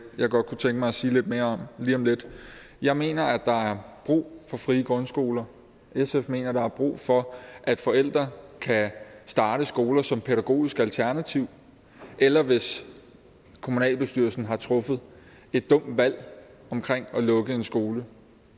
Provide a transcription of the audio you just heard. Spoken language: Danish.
jeg godt kunne tænke mig at sige lidt mere om lige om lidt jeg mener at der er brug for frie grundskoler sf mener at der er brug for at forældre kan starte skoler som et pædagogisk alternativ eller hvis kommunalbestyrelsen har truffet et dumt valg omkring at lukke en skole